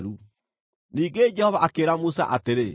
Ningĩ Jehova akĩĩra Musa atĩrĩ,